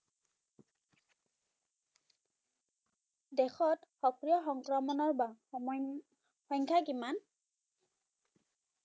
দেশত সক্ৰিয় সংক্ৰমণৰ সংখ্যা কিমান